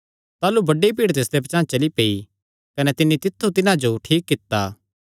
ताह़लू बड्डी भीड़ तिसदे पचांह़ चली पेई कने तिन्नी तित्थु तिन्हां जो ठीक कित्ता